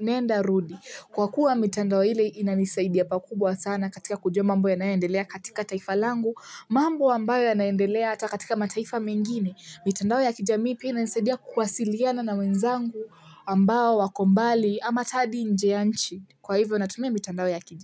nenda rudi kwa kuwa mitandao ile inanisaidia pakubwa sana katika kujua mambo yanayoendelea katika taifa langu, mambo ambayo yanaendelea hata katika mataifa mengine mitandao ya kijamii pia inanisadia kuwasiliana na wenzangu ambao wako mbali ama hadi nje ya nchi kwa hivyo natumia mitandao ya kijamii.